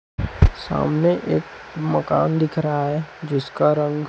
सामने एक मकान दिख रहा है जिसका रंग--